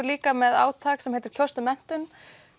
líka með átak sem heitir kjóstu menntun